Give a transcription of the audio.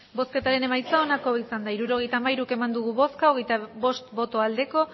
hirurogeita hamairu eman dugu bozka hogeita bost bai